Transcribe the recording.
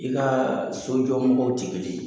I ka sojɔ mɔgɔw ti kelen ye.